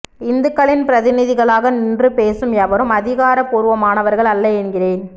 இந்துக்களின் பிரதிநிதிகளாக நின்று பேசும் எவரும் அதிகாரபூர்வமானவர்கள் அல்ல என்கிறேன்